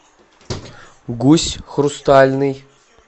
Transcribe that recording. гусь хрустальный